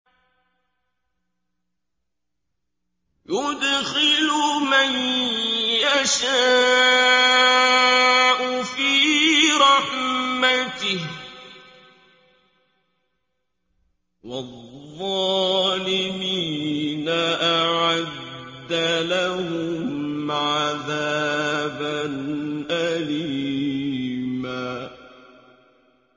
يُدْخِلُ مَن يَشَاءُ فِي رَحْمَتِهِ ۚ وَالظَّالِمِينَ أَعَدَّ لَهُمْ عَذَابًا أَلِيمًا